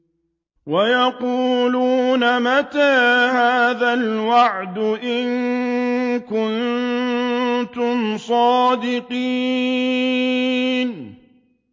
وَيَقُولُونَ مَتَىٰ هَٰذَا الْوَعْدُ إِن كُنتُمْ صَادِقِينَ